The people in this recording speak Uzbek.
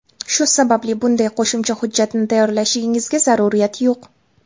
Shu sababli, bunday qo‘shimcha hujjatni tayyorlashingizga zaruriyat yo‘q.